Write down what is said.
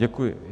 Děkuji.